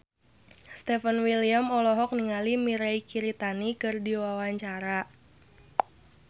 Stefan William olohok ningali Mirei Kiritani keur diwawancara